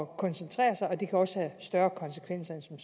koncentrere sig og det kan også have større konsekvenser end som